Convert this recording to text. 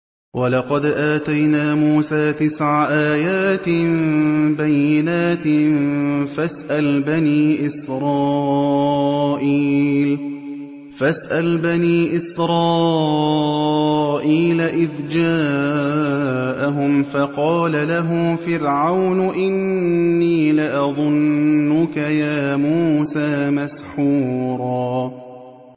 وَلَقَدْ آتَيْنَا مُوسَىٰ تِسْعَ آيَاتٍ بَيِّنَاتٍ ۖ فَاسْأَلْ بَنِي إِسْرَائِيلَ إِذْ جَاءَهُمْ فَقَالَ لَهُ فِرْعَوْنُ إِنِّي لَأَظُنُّكَ يَا مُوسَىٰ مَسْحُورًا